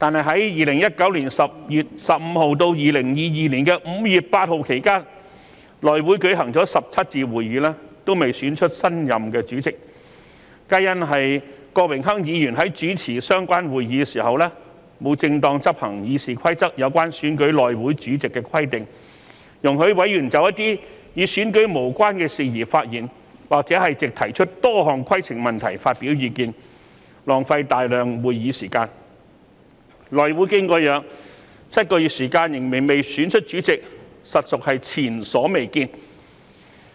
在2019年10月15日至2020年5月8日期間，內會舉行了17次會議，但還未選出新任主席，此事皆因郭榮鏗議員主持相關會議的時候沒有正常執行《議事規則》有關選舉內會主席的規定，容許委員就一些與選舉無關的事宜發言，或藉提出多項規程問題發表意見，浪費大量會議時間，內會經過7個月仍未能選出主席，實屬前所未見。